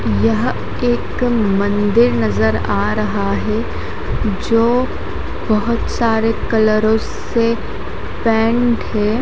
यह एक मंदिर नजर आ रहा है जो बहोत सारे कलारो से पेंट है।